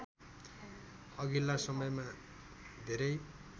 अघिल्ला समयमा धेरै